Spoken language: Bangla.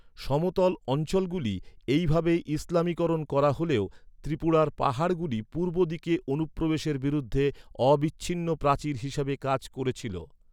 সমতল অঞ্চলগুলি এইভাবে ইসলামীকরণ করা হলেও, ত্রিপুরার পাহাড়গুলি পূর্ব দিকে অনুপ্রবেশের বিরুদ্ধে অবিচ্ছিন্ন প্রাচীর হিসাবে কাজ করেছিল।